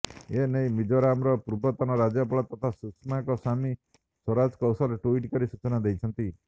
ଏ ନେଇ ମିଜୋରାମର ପୂର୍ବତନ ରାଜ୍ୟପାଳ ତଥା ସୁଷମାଙ୍କ ସ୍ୱାମୀ ସ୍ୱରାଜ କୌଶଲ ଟୁଇଟ୍ କରି ସୂଚନା ଦେଇଛନ୍ତି